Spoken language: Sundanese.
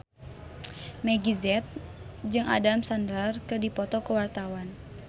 Meggie Z jeung Adam Sandler keur dipoto ku wartawan